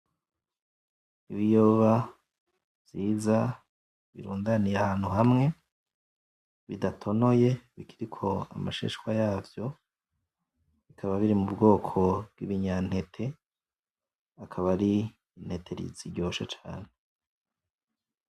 Ibiyoba vyiza, birundaniye ahantu hamwe, bidatonoye bikiriko amashishwa yavyo. Bikaba biri m'Ubwoko vy'ibinyantete, akaba ari intete ziryoshe cane.